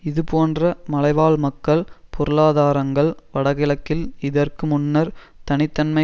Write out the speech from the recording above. இதுபோன்ற மலைவாழ் மக்கள் பொருளாதாரங்கள் வடகிழக்கில் இதற்கு முன்னர் தனி தன்மை